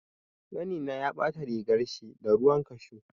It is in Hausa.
Ƙanina ya ɓata rigarshi da ruwan kashu.